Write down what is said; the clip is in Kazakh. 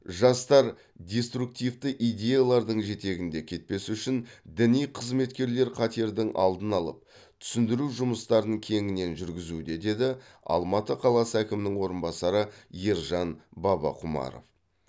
жастар деструктивті идеялардың жетегінде кетпес үшін діни қызметкерлер қатердің алдын алып түсіндіру жұмыстарын кеңінен жүргізуде деді алматы қаласы әкімінің орынбасары ержан бабақұмаров